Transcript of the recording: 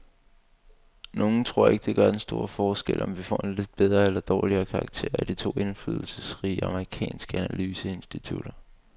Nogle tror ikke, det gør den store forskel, om vi får en lidt bedre eller dårligere karakter af de to indflydelsesrige amerikanske analyseinstitutter.